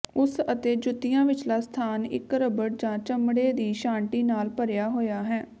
ਉਸ ਅਤੇ ਜੁੱਤੀਆਂ ਵਿਚਲਾ ਸਥਾਨ ਇਕ ਰਬੜ ਜਾਂ ਚਮੜੇ ਦੀ ਛਾਂਟੀ ਨਾਲ ਭਰਿਆ ਹੋਇਆ ਹੈ